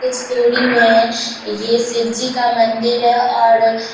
कुछ दूरी में ये शिव जी का मंदिर है और --